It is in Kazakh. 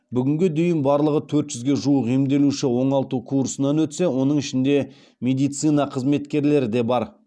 бүгінге дейін барлығы төрт жүзге жуық емделуші оңалту курсынан өтсе оның ішінде медицина қызметкерлері де бар